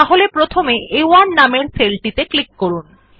তাহলে প্রথমে আ1 নামের সেল টিতে ক্লিক করুন